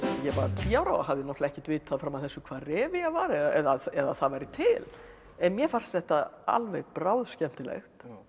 ég var tíu ára og hafði ekkert vitað fram að þessu hvað var eða að það væri til en mér fannst þetta alveg bráðskemmtilegt